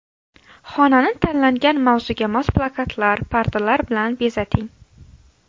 Xonani tanlangan mavzuga mos plakatlar, pardalar bilan bezating.